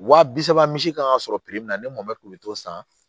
Wa bi saba misi kan ka sɔrɔ min na ne mɔmɛti